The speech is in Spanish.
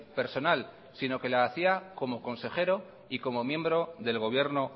personal sino que la hacía como consejero y como miembro del gobierno